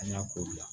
An y'a ko bila